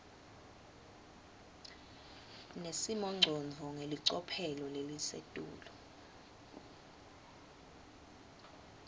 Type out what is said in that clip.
nesimongcondvo ngelicophelo lelisetulu